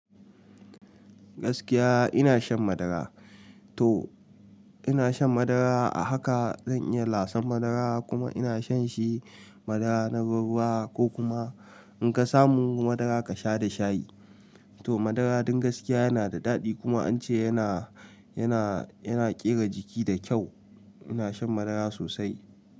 Gaskiya ina shan madara. To ina shan madara a haka zan iya lasan madara kuma ina shan shi madara na ruwa ko kuma in ka samu madara ka sha da shayi. To madara dun gaskiya yana da daɗi kuma an ce yana, yana, yana ƙera jiki da kyau. Ina shan madara sosai.